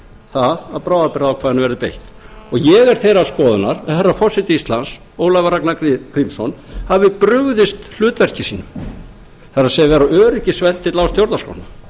það að bráðabirgðaákvæðinu verði beitt ég er þeirrar skoðunar að herra forseti íslands ólafur ragnar grímsson hafi brugðist hlutverki sínu það er að vera öryggisventill á stjórnarskrána